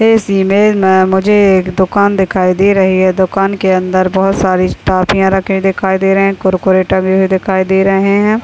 इस इमेज में मुझे एक दूकान दिखाई दे रही है। दूकान के अंदर बोहोत सारी टॉफीया रखे दिखाई दे रहे हैं। कुरकुरे टंगे हुए दिखाई दे रहे हैं।